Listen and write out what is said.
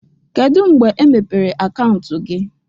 Kedu mgbe emepere akaụntụ gị?